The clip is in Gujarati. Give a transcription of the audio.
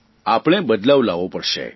આપણા આપણે બદલવા લાવવો પડશે